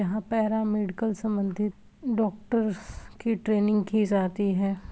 यहाँ para medical सम्बंधित doctors की ट्रेनिंग की जाती है।